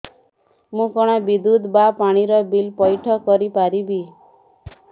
ମୁ କଣ ବିଦ୍ୟୁତ ବା ପାଣି ର ବିଲ ପଇଠ କରି ପାରିବି